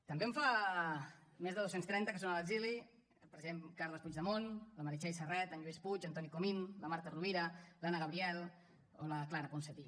també en fa més de dos cents i trenta que són a l’exili el president carles puigdemont la meritxell serret en lluís puig en toni comín la marta rovira l’anna gabriel o la clara ponsatí